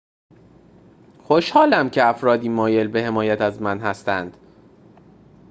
خوشحالم که افرادی مایل به حمایت از من هستند